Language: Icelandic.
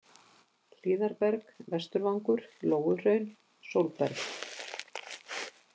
Hlíðarberg, Vesturvangur, Lóuhraun, Sólberg